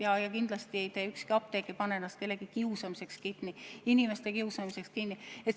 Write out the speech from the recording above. Kindlasti ükski apteek ei pane uksi kellegi kiusamiseks kinni, inimeste kiusamiseks kinni.